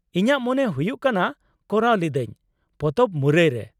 ᱤᱧᱟᱹᱜ ᱢᱚᱱᱮ ᱦᱩᱭᱩᱜ ᱠᱟᱱᱟ ᱠᱚᱨᱟᱣ ᱞᱤᱫᱟᱹᱧ ; ᱯᱚᱛᱚᱵ ᱢᱩᱨᱟᱹᱭ ᱨᱮ ᱾